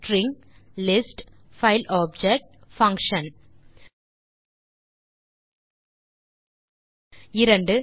string list file object function 2